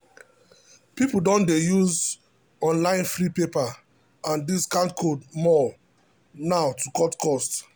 people don dey use online free paper and discount code more now to cut spending.